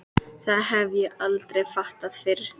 Það hef ég aldrei fattað fyrr.